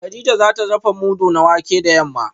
kadija za ta dafa mudu na wake da yamma